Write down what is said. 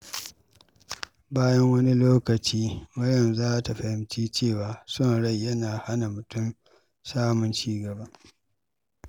Bayan wani lokaci, Maryam za ta fahimci cewa son rai yana hana mutum samun ci gaba.